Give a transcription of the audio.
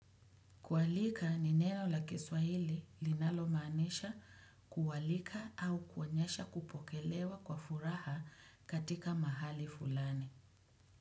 Kualika ni neno la kiswahili linalomaanisha kualika au kuonyesha kupokelewa kwa furaha katika mahali fulani.